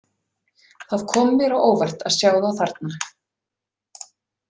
Það kom mér á óvart að sjá þá þarna.